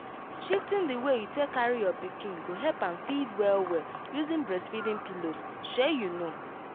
shifting the way you take carry your pikin go help am feed well well using breastfeeding pillows shey you know